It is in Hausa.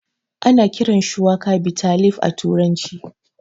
Ana kiran shuwaka bitter leaf a turanci